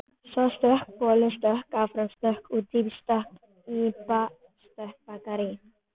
Svo stökk boli áfram út í Bakarí.